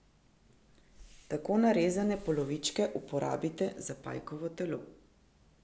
Tako narezane polovičke uporabite za pajkovo telo.